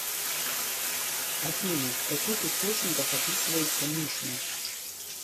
афина в каких источниках описывается мишна